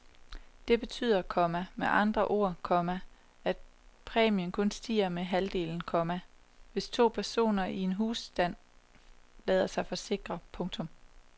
Det betyder, komma med andre ord, komma at præmien kun stiger med halvdelen, komma hvis to personer i en husstand lader sig forsikre. punktum